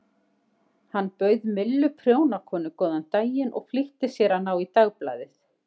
Hann bauð Millu prjónakonu góðan daginn og flýtti sér að ná í dagblaðið.